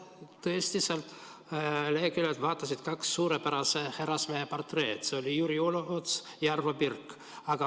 Tõesti, sealt leheküljelt vaatasid vastu kahe suurepärase härrasmehe portreed, need olid Jüri Uluots ja Ado Birk.